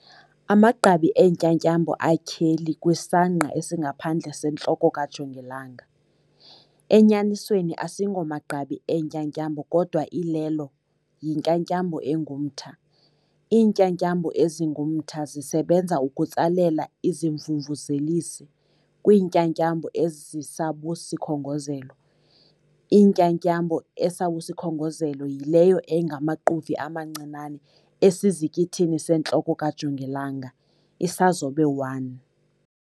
Amagqabi eentyatyambo atyheli kwisangqa esingaphandle sentloko kajongilanga, enyanisweni asingomagqabi eentyatyambo kodwa ilelo 'yintyatyambo engumtha' Iintyatyambo ezingumtha zisebenza ukutsalela izimvumvuzelisi 'kwiintyatyambo ezisabusikhongozelo'. Intyatyambo esabusikhongozelo yileyo engamaquvi amancinane esizikithini sentloko kajongilanga, Isazobe 1.